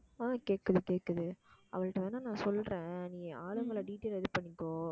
ஆஹ் கேட்குது கேட்குது, அவள்ட்ட வேணா நான் சொல்றேன் நீ ஆளுங்களை detail ready பண்ணிக்கோ